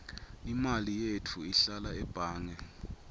imali yetfu ihlala ebhange